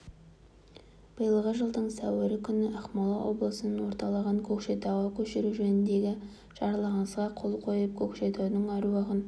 биылғы жылдың сәуірі күні ақмола облысының орталығын көкшетауға көшіру жөніндегі жарлығыңызға қол қойып көкшетаудың әруағын